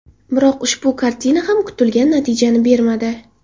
Biroq ushbu kartina ham kutilgan natijani bermadi.